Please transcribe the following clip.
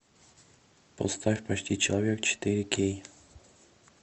поставь почти человек четыре кей